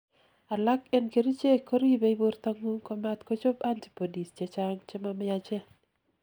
alak en kerichek koribei bortangung komatkochob antibodies chechang chamamiachen